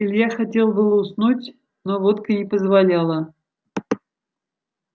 илья хотел бы уснуть но водка не позволяла